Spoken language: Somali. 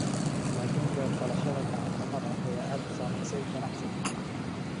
Laakin beer-falashada gacan-xumada ayaa aad u saamaysay ganacsigan.